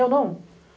Eu não.